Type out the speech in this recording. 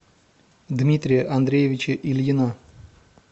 дмитрия андреевича ильина